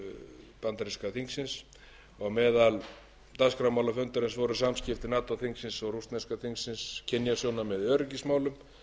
bandaríska þingsins á meðal helstu dagskrármála fundarins voru samskipti nato þingsins og rússneska þingsins kynjasjónarmið í öryggismálum